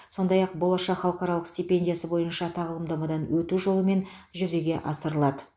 сондай ақ болашақ халықаралық стипендиясы бойынша тағылымдамадан өту жолымен жүзеге асырылады